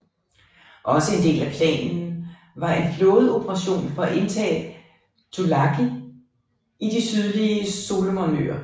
Også en del af planen var en flådeoperation for at indtage Tulagi i de sydlige Solomonøer